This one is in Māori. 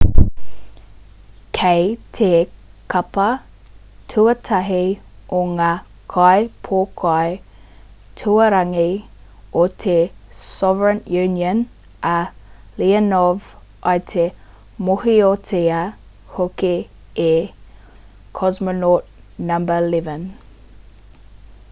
kei te kapa tuatahi o ngā kaipōkai tuarangi o te soviet union a leonov i te mōhiotia hoki e cosmonaut no.11